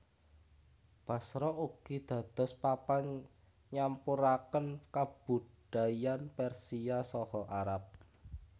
Basra ugi dados papan nyampuraken kabudayan Persia saha Arab